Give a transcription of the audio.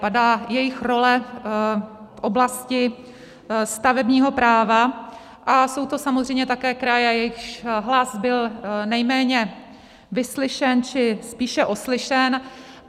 Padá jejich role v oblasti stavebního práva a jsou to samozřejmě také kraje, jejichž hlas byl nejméně vyslyšen či spíše oslyšen.